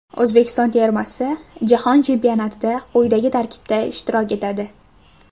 O‘zbekiston termasi Jahon chempionatida quyidagi tarkibda ishtirok etadi.